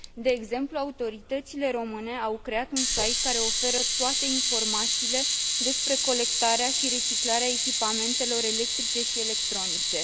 De exemplu, autoritățile române au creat un site care oferă toate informațiile despre colectarea și reciclarea echipamentelor electrice și electronice.